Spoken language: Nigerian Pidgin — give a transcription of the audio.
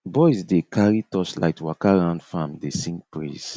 boys dey carry torchlight waka round farm dey sing praise